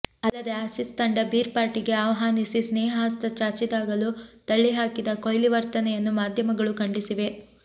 ಅಲ್ಲದೆ ಆಸೀಸ್ ತಂಡ ಬೀರ್ ಪಾರ್ಟಿಗೆ ಆಹ್ವಾನಿಸಿ ಸ್ನೇಹ ಹಸ್ತ ಚಾಚಿದಾಗಲೂ ತಳ್ಳಿ ಹಾಕಿದ ಕೊಹ್ಲಿ ವರ್ತನೆಯನ್ನು ಮಾಧ್ಯಮಗಳು ಖಂಡಿಸಿವೆ